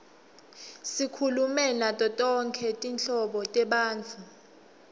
sikhulume nato tonkhe tinhlobo tebantfu